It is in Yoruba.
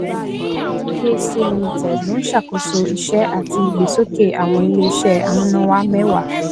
ndphc limited ló ń ṣàkóso iṣẹ àti ìgbésókè awọn iléiṣẹ amúnáwá mẹwàá